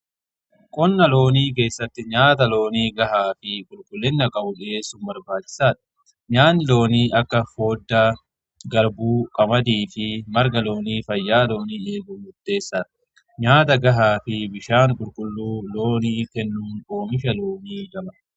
Qonnaa loonii keessatti nyaata loonii gahaa fi qulqullina qabu dhiyeessun barbaachisaadha. Nyaanni loonii akka foodda, garbuu, qamadii fi marga loonii fayyaa loonii eeguuf muteessaadha. Nyaata gahaa fi bishaan qulqulluu loonii kennuun oomisha loonii dabala.